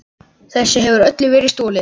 Þessu hefur öllu verið stolið!